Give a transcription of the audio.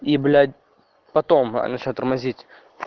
и блять потом начал я тормозить